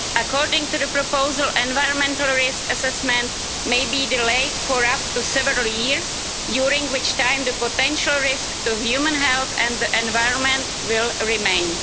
According to the proposal, an environmental risk assessment may be delayed for up to several years, during which time the potential risk to human health and the environment will remain.